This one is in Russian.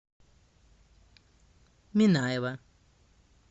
минаева